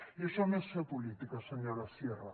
i això no és fer política senyora sierra